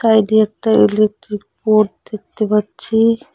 সাইডে একটা electric board দেখতে পাচ্ছি।